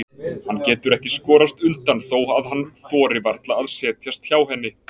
Hann getur ekki skorast undan þó að hann þori varla að setjast hjá henni.